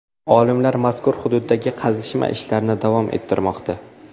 Olimlar mazkur hududdagi qazishma ishlarini davom ettirmoqda.